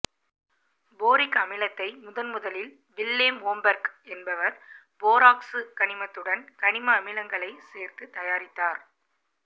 boric அமிலத்தை முதன்முதலில் Willem Homberg என்பவர் போராக்சு கனிமத்துடன் கனிம அமிலங்களைச் சேர்த்து தயாரித்தார்